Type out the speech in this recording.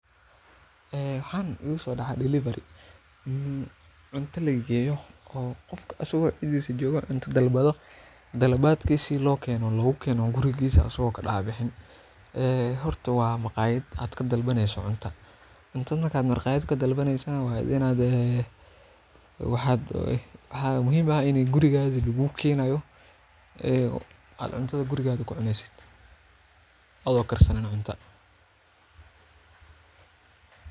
Ee waxa igu sodacay dilevery qof isago xafadisa jogo logu keno cunto horta waa maqayad cuntadha marka maqayada kalbato waxaa muhiim in gurigagaa lagu kenayo adhiga oo karsanin.